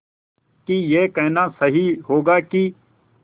कि यह कहना सही होगा कि